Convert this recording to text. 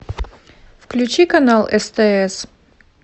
включи канал стс